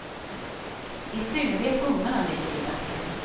I synnerhet ungarna ligger illa till.